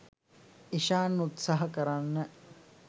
ඉශාන් උත්සහා කරන්න